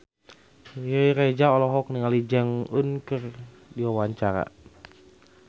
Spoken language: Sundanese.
Riri Reza olohok ningali Jong Eun Ji keur diwawancara